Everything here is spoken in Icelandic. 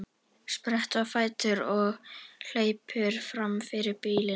Sprettur á fætur og hleypur fram fyrir bílinn.